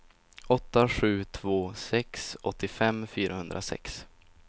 åtta sju två sex åttiofem fyrahundrasex